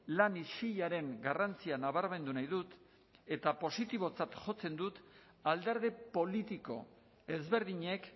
lan isilaren garrantzia nabarmendu nahi dut eta positibotzat jotzen dut alderdi politiko ezberdinek